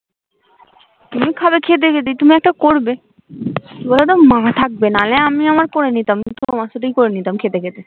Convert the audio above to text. তুমি ও খাবে খেতে খেতে তুমিও একটা করবে কি বলো তো মা থাকবে নাহলে আমি আমার করে নিতাম তোমার সাথেই করে নিতাম খেতে খেতে